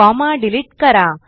comma delete करा